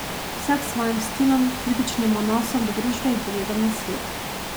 Vsak s svojim stilom, kritičnim odnosom do družbe in pogledom na svet.